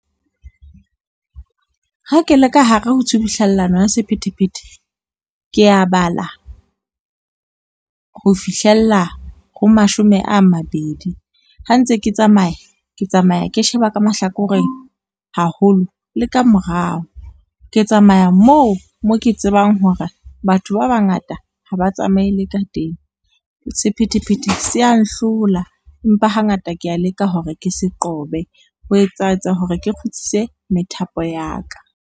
Ha ke le ka hare ho tshubuhlellano ya sephethephethe, ke ya bala, ho fihlella ho mashome a mabedi. Ha ntse ke tsamaya ke tsamaya ke sheba ka mahlakoreng haholo le ka morao. Ke tsamaya moo mo ke tsebang hore batho ba bangata ha ba tsamayele ka teng sephethephethe se ya nhlola, empa hangata ke ya leka hore ke se qobe ho etsaetsa hore ke kgutlise methapo ya ka.